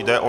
Jde o